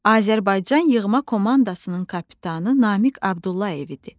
Azərbaycan yığma komandasının kapitanı Namiq Abdullayev idi.